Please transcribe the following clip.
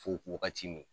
Fo wagati min